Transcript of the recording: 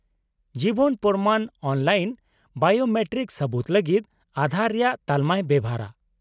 -ᱡᱤᱵᱚᱱ ᱯᱨᱚᱢᱟᱱ online biometric ᱥᱟᱹᱵᱩᱛ ᱞᱟᱹᱜᱤᱫ ᱟᱸᱫᱷᱟᱨ ᱨᱮᱭᱟᱜ ᱛᱟᱞᱢᱟᱭ ᱵᱮᱣᱦᱟᱨᱼᱟ ᱾